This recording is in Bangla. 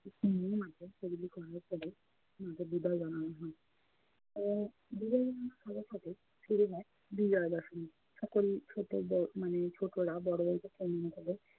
উম মাকে শরীরে গয়না পড়াই মাকে বিদায় জানানো হয় এবং বিদায় জানানোর সাথে সাথে ফিরে যায় বিজয়া দশমী। সকল ছোট ব~ উম ছোটরা বড়রা খেলে